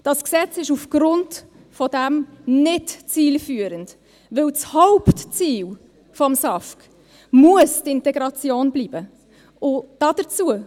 Das Gesetz ist aufgrund dessen nicht zielführend, weil das Hauptziel des SAFG die Integration bleiben muss.